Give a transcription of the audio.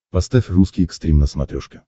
поставь русский экстрим на смотрешке